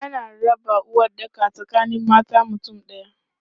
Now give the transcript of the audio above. Ana raba uwaɗɗaka tsakanin matan mutum ɗaya.